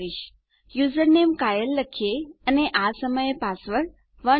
ચાલો જોઈએ ચાલો યુઝરનેમ કાયલે લખીએ અને આ સમયે પાસવર્ડ 123 છે